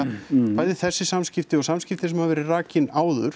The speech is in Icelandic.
bæði þessi samskipti og samskipti sem hafa verið rakin áður